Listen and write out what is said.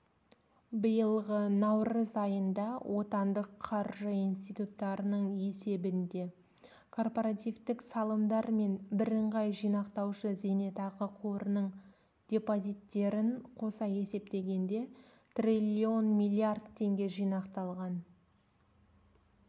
биылғы наурыз айында отандық қаржы институттарының есебінде корпоративтік салымдар мен бірыңғай жинақтаушы зейнетақы қорының депозиттерін қоса есептегенде триллион миллиард теңге жинақталған